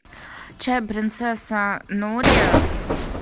чай принцесса нури